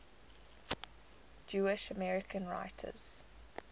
jewish american writers